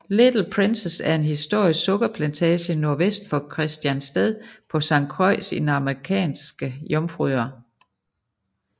Little Princess er en historisk sukkerplantage nordvest for Christiansted på Sankt Croix i de Amerikanske Jomfruøer